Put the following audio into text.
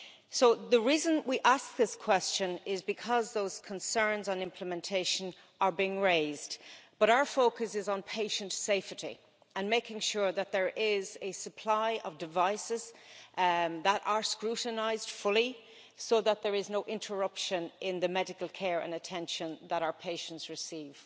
So the reason we ask this question is because those concerns on implementation are being raised, but our focus is on patient safety and making sure that there is a supply of devices that are scrutinised fully so that there is no interruption in the medical care and attention that our patients receive.